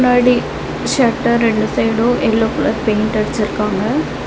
முன்னாடி ஷட்டர் ரெண்டு side yellow colour paint அடிச்சிர்க்காங்க.